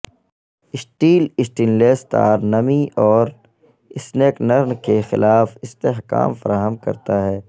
steel stainless تار نمی اور سنکنرن کے خلاف استحکام فراہم کرتا ہے